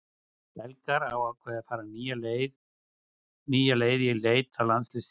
Belgar hafa ákveðið að fara nýja leið í leit að landsliðsþjálfara.